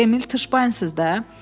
Siz bu Emil Tışbayız da?